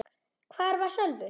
Hvar var Sölvi?